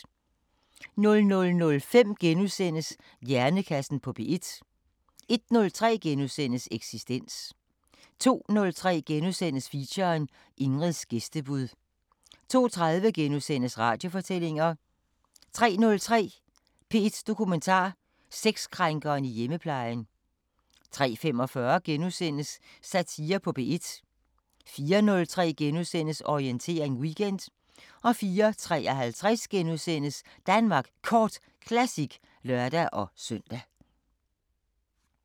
00:05: Hjernekassen på P1 * 01:03: Eksistens * 02:03: Feature: Ingrids gæstebud * 02:30: Radiofortællinger * 03:03: P1 Dokumentar: Sexkrænkeren i hjemmeplejen 03:45: Satire på P1 * 04:03: Orientering Weekend * 04:53: Danmark Kort Classic *(lør-søn)